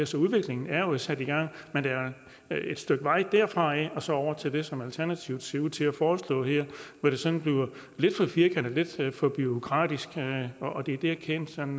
så udviklingen er jo sat i gang men der er et stykke vej derfra og så over til det som alternativet ser ud til at foreslå her hvor det sådan bliver lidt for firkantet og lidt for bureaukratisk og det er der kæden sådan